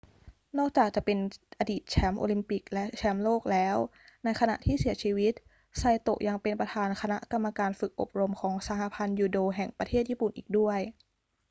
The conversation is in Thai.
นอกจากจะเป็นอดีตแชมป์โอลิมปิกและแชมป์โลกแล้ว ในขณะที่เสียชีวิตไซโตะยังเป็นประธานคณะกรรมการฝึกอบรมของสหพันธ์ยูโดแห่งประเทศญี่ปุ่นอีกด้วย